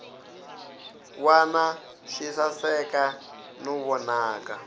wana swi saseka no vonaka